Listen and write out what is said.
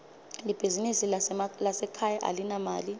libizinsi lasekhaya alinamali